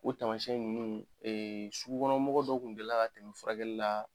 O tamasiyɛn ninnu sugukɔnɔ mɔgɔ dɔ kun delila ka tɛmɛ furakɛlila